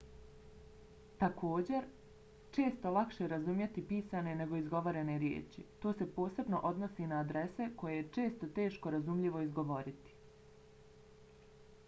također često lakše razumjeti pisane nego izgovorene riječi. to se posebno odnosi na adrese koje je često teško razumljivo izgovoriti